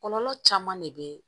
Kɔlɔlɔ caman de bɛ